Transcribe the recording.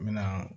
N bɛna